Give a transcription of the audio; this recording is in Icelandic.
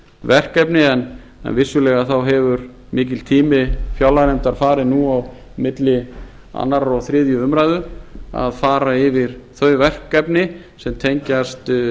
verkefni en vissulega hefur mikill tími fjárlaganefndar farið nú á milli annars og þriðju umræðu að fara yfir þau verkefni sem tengjast